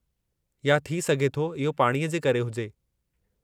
या थी सघे थो इहो पाणीअ जे करे हुजे?